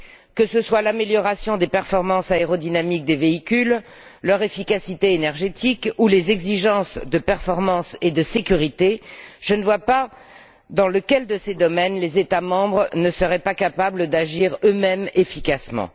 Que ce soit l'amélioration des performances aérodynamiques des véhicules, leur efficacité énergétique ou les exigences de performance et de sécurité, je ne vois pas dans lequel de ces domaines les États membres ne seraient pas capables d'agir eux mêmes efficacement.